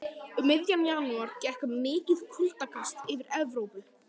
Um miðjan janúar gekk mikið kuldakast yfir Evrópu.